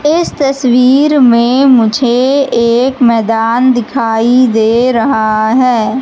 इस तस्वीर में मुझे एक मैदान दिखाई दे रहा है।